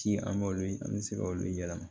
Ci an b'olu ye an bɛ se k'olu yɛlɛma